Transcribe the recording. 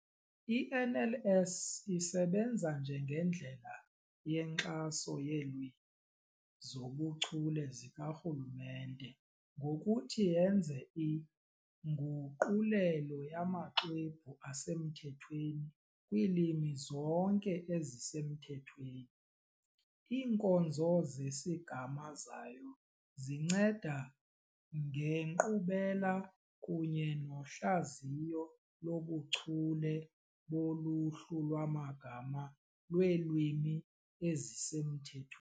I-NLS isebenza njengendlela yenkxaso yeelwimi zobuchule zikaRhulumente ngokuthi yenze inguqulelo yamaxwebhu asemthethweni kwiilwimi zonke ezisemthethweni. Iinkonzo zesigama zayo zinceda ngenkqubela kunye nohlaziyo lobuchule boluhlu lwamagama lweelwimi ezisemthethwe.